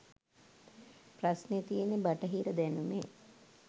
ප්‍රශ්නෙ තියෙන්නෙ බටහිර දැනුමෙ